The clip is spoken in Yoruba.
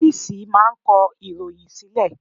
Ọ́fìsì máà ń kọ ìròhìn sílẹ̀.